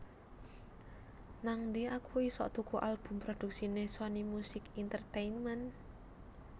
Nangdi aku isok tuku album produksine Sony Music Entertainment?